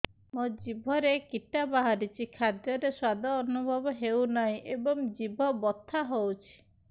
ମୋ ଜିଭରେ କିଟା ବାହାରିଛି ଖାଦ୍ଯୟରେ ସ୍ୱାଦ ଅନୁଭବ ହଉନାହିଁ ଏବଂ ଜିଭ ବଥା ହଉଛି